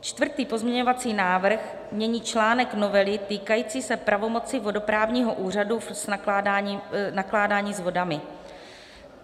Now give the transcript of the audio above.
Čtvrtý pozměňovací návrh mění článek novely týkající se pravomoci vodoprávního úřadu v nakládání s vodami.